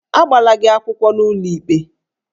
Agbala gị akwụkwọ n'ụlọikpe?